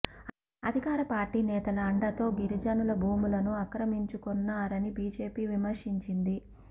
అధికార పార్టీ నేతల అండతో గిరిజనుల భూములను ఆక్రమించుకొన్నారని బీజేపీ విమర్శించింది